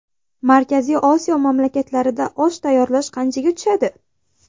Markaziy Osiyo mamlakatlarida osh tayyorlash qanchaga tushadi?.